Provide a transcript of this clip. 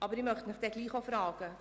Aber ich möchte Sie trotzdem fragen: